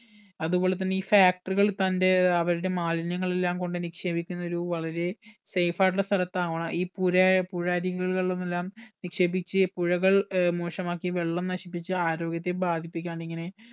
അതുപോലെ തന്നെ ഈ factory കൾ തന്റെ അവരുടെ മാലിന്യങ്ങൾ എല്ലാം കൊണ്ട് നിക്ഷേപിക്കുന്നത് ഒരു വളരെ safe ആയിട്ടുള്ള സ്ഥലത്താവണം ഈ പുര പുഴയരികികളിൽ എല്ലാം നിക്ഷേപിച്ച് പുഴകൾ ഏർ മോശമാക്കി വെള്ളം നശിപ്പിച്ച് ആരോഗ്യത്തെ ബാധിപ്പിക്കാണ്ടിങ്ങനെ